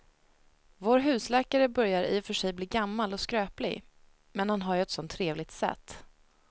Vår husläkare börjar i och för sig bli gammal och skröplig, men han har ju ett sådant trevligt sätt!